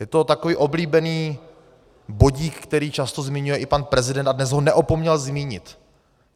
Je to takový oblíbený bodík, který často zmiňuje i pan prezident, a dnes ho neopomněl zmínit.